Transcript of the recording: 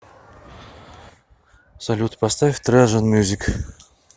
салют поставь тражанмьюзик